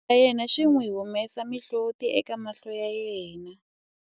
xitori xa yena xi n'wi humesa mihloti eka mahlo ya yena